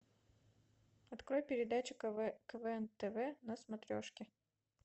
открой передачу квн тв на смотрешке